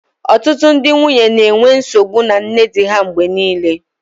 Ọtụtụ ndị nwunye na-enwe nsogbu na nne di ha mgbe niile